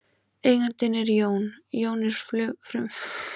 Eigandinn er Jón, Jón er frumlag setningarinnar og sinn er afturbeygt eignarfornafn.